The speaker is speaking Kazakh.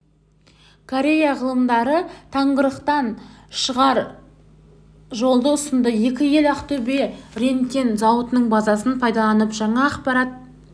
корея ғалымдары тығырықтан шығар жолды ұсынды екі ел ақтөбе рентген зауытының базасын пайдаланып жаңа аппарат